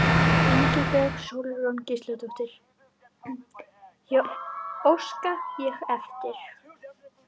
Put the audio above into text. Ingibjörg Sólrún Gísladóttir: Óska ég eftir?